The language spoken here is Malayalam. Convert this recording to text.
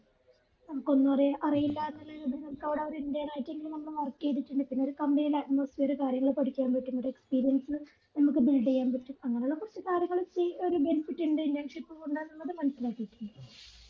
നമ്മകൊന്നു അറിയി അറിയില്ലന്നുള്ള നമുക്കവിട ഒരു intern ആയിട്ടെങ്കിലും നമ്മൾ work ചെയ്‌തിട്ടുണ്ട്‌ പിന്നെ ഒരു company യിലെ atmosphere കാര്യങ്ങൾ പഠിക്കാൻ പറ്റും ഒരു experience നമ്മക് build ചെയ്യാൻപറ്റും അങ്ങനെഉള്ള കുറച് കാര്യങ്ങൾ ഈ ഒരു benefit ഉണ്ട് internship കൊണ്ടെന്നത് മനസിലാകിട്ടുണ്ട്